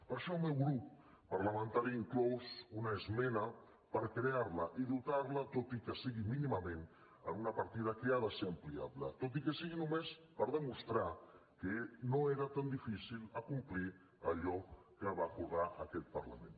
per això el meu grup parlamentari inclou una esmena per crear la i dotar la tot i que sigui mínimament amb una partida que ha de ser ampliable tot i que sigui només per demostrar que no era tan difícil acomplir allò que va acordar aquest parlament